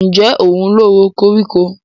Ǹjẹ́ òun ló ro koríko?